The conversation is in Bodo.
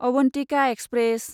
अवन्तिका एक्सप्रेस